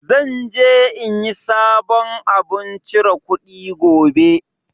Zan je in yi sabon abun chire kuɗi gobe